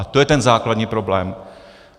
A to je ten základní problém.